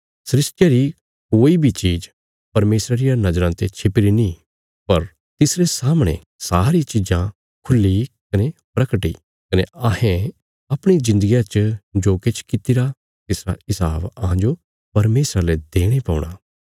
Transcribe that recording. सृष्टिया री कोई बी चीज़ परमेशरा रिया नज़राँ ते छिपीरी नीं पर तिसरे सामणे सारी चीजां खुल्ही कने प्रगट इ कने अहें अपणी जिन्दगिया च जो किछ कित्तिरा तिसरा हिसाब अहांजो परमेशरा ले देणे पौणा